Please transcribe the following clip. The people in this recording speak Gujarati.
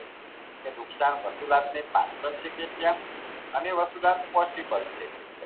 કે નુકશાન વસુલાતને પાત્ર છે કે કેમ અને વસુલાત possible છે કે કેમ